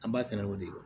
An b'a kɛnɛ o de kan